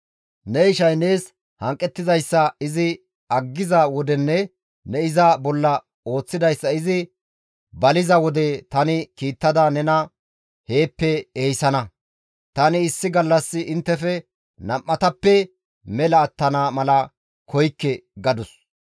Ne ishay nees hanqettizayssa izi aggiza wodenne ne iza bolla ooththidayssa izi baliza wode tani kiittada nena heeppe ehisana; tani issi gallas inttefe nam7atappe mela attana mala koykke» gadus.